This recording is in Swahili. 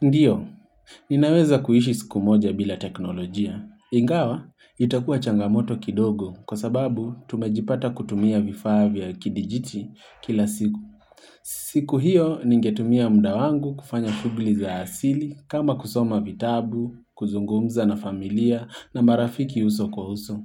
Ndio, ninaweza kuishi siku moja bila teknolojia. Ingawa, itakuwa changamoto kidogo kwa sababu tumejipata kutumia vifaa vya kidijiti kila siku. Siku hiyo, ningetumia muda wangu kufanya shughuli za asili kama kusoma vitabu, kuzungumza na familia na marafiki uso kwa uso,